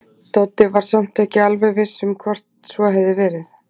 Doddi var samt ekki alveg viss um hvort svo hefði verið.